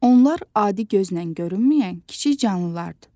Onlar adi gözlə görünməyən kiçik canlılardır.